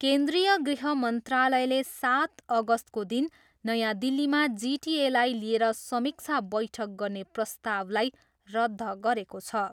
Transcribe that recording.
केन्द्रिय गृह मन्त्रालयले सात अगस्तको दिन नयाँ दिल्लीमा जिटिएलाई लिएर समीक्षा बैठक गर्ने प्रस्तावलाई रद्ध गरेको छ।